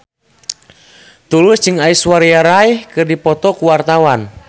Tulus jeung Aishwarya Rai keur dipoto ku wartawan